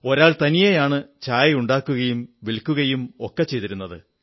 ഒരാൾതനിയെയാണ് ചായ ഉണ്ടാക്കുകയും വിൽക്കുകയുമൊക്കെ ചെയ്തിരുന്നത്